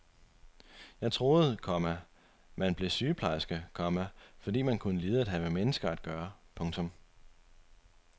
Jeg troede, komma man blev sygeplejerske, komma fordi man kunne lide at have med mennesker at gøre. punktum